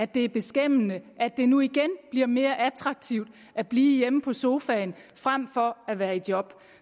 det er beskæmmende at det nu igen bliver mere attraktivt at blive hjemme på sofaen frem for at være i job